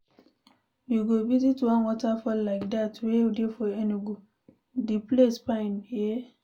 We go visit one waterfall like dat wey dey for Enugu, the place fine eh.